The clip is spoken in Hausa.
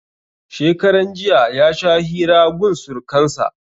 Shekaran jiya ya sha hira gun surkan sa